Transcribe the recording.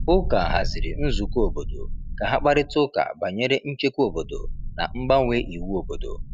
Ụka haziri nzukọ obodo ka ha kparịta ụka banyere nchekwa obodo na mgbanwe iwu obodo.